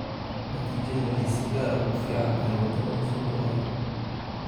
Natiijadu waxay si gaar ah ugu fiican tahay waddamada soo koraya.